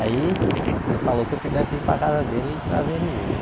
Aí ele falou que eu pudesse vir para casa dele e trazer o menino né.